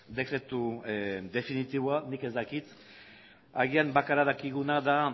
dekretu definitiboa nik ez dakit agian bakarra dakiguna da